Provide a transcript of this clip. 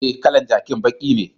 Eh, kalan jakin baki ne.